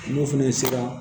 N'o fɛnɛ sera